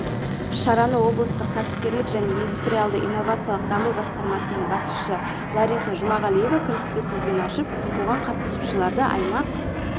шараны облыстық кәсіпкерлік және индустриалды-инновациялық даму басқармасының басшысы лариса жұмағалиева кіріспе сөзбен ашып оған қатысушыларды аймақ